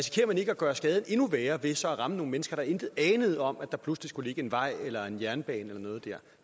man ikke at gøre skaden endnu værre ved så at ramme nogle mennesker der intet anede om at der pludselig skulle ligge en vej eller en jernbane eller noget dér